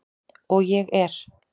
Og ég er.